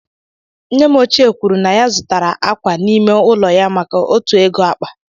Nne m ochie kwuru na ya zụtara akwa n'ime ụlọ ya maka otu ego akpa.